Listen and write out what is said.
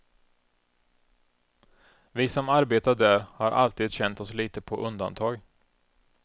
Vi som arbetar där har alltid känt oss lite på undantag.